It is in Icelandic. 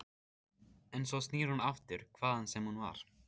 En svo snýr hún aftur, hvaðan sem hún var.